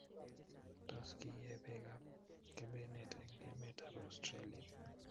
Tos, kiie beekab kebenet eng emetab Australia